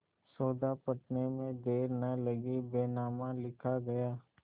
सौदा पटने में देर न लगी बैनामा लिखा गया